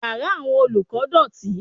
Yàrá àwọn olùkọ́ dọ̀tí.